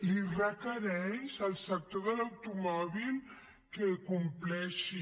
li requereix al sector de l’automòbil que compleixi